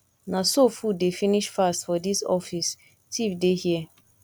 na so food dey finish fast for dis office thief dey here